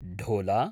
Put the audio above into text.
ढोला